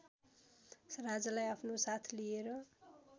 राजालाई आफ्नो साथ लिएर